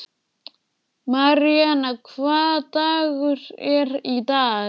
Maríanna, hvaða dagur er í dag?